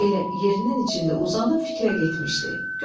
Elə yerinin içində uzanıb fikrə getmişdi.